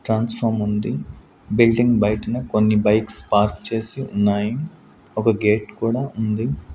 Transformer ఉంది building బయిటన కొన్ని బైక్స్ పార్క్ చేసి ఉన్నాయి ఒక గేట్ కూడా ఉంది.